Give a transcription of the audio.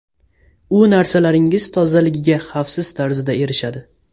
U narsalaringiz tozaligiga xavfsiz tarzda erishadi.